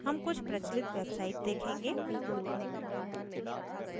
हम कुछ प्रचलित websites देखेंगे